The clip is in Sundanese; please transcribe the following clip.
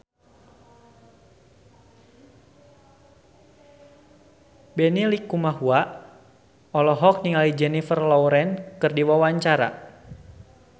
Benny Likumahua olohok ningali Jennifer Lawrence keur diwawancara